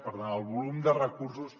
per tant el volum de recursos